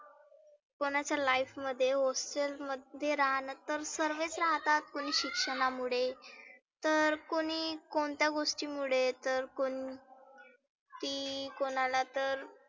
कोणाच्या life hostel मध्ये राहणं तर सर्वेच राहतात. कोणी शिक्षणामुळे, तर कोणी कोणत्या गोष्टीमुळे तर कोण ती कोणाला तर